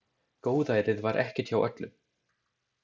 Góðærið var ekkert hjá öllum.